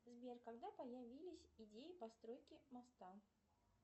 сбер когда появились идеи постройки моста